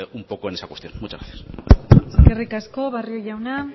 un poco en esa cuestión muchas gracias eskerrik asko barrio jauna